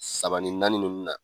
Saba ni naani ninnu na.